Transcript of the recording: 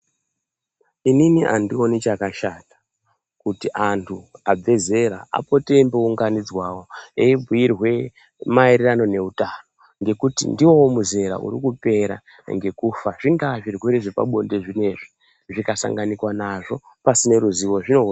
Inini andioni chakashata kuti antu abve zera apote eimbounganidzwawo eibhuirwe mairirano neutano ngekuti ndiwo muzera uri kupera ngekufa zvingaa zvirwere zvepabonde zvinezvi zvikasanganikwa nazvo pasina ruzivo zvinouraya.